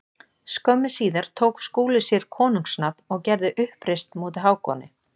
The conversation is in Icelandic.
Skömmu síðar tók Skúli sér konungs nafn og gerði uppreisn móti Hákoni.